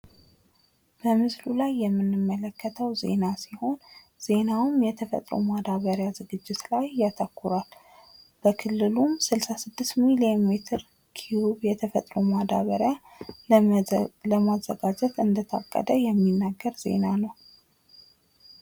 በምስሉ ላይ የምንመለከተው ዜና ሲሆን ዜናውም የተፈጥሮ ማዳበሪያ ዝግጅት ላይ ያተኩራል በክልሉም ስልሳ ስድስት ሚሊዮን ሜትር ኪዩብ የተፈጥሮ ማዳበሪያ ለማዘጋጀት እንደታቀደ የሚናገር ዜና ነው።